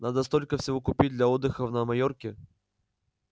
надо столько всего купить для отдыха на майорке